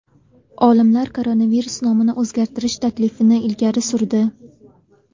Olimlar koronavirus nomini o‘zgartirish taklifini ilgari surdi.